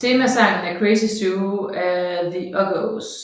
Temasangen er Crazy Zoo af The Uggos